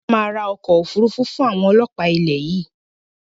Ìjọba máa ra ọkọ̀ Òfúrufú fun àwọn ọlọ́pa ilẹ̀ yìí